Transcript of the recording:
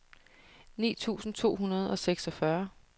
ni tusind to hundrede og seksogfyrre